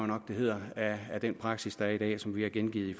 nok det hedder af den praksis der er i dag som vi har gengivet i